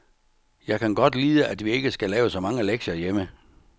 Jeg kan godt lide at vi ikke skal lave så mange lektier hjemme.